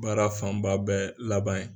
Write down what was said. Baara fanba bɛ laban ye.